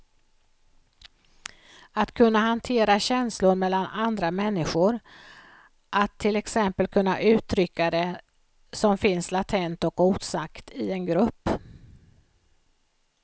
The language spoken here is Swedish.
Att kunna hantera känslor mellan andra människor, att till exempel kunna uttrycka det som finns latent och osagt i en grupp.